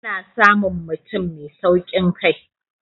ana samun mutum Mai saukin Kai